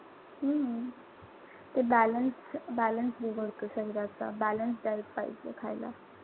हम्म ते balance-balance बिघडतो शरीराचा. Balanced diet पाहिजे खायला.